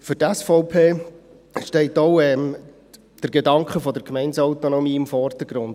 Für die SVP steht auch der Gedanke der Gemeindeautonomie im Vordergrund.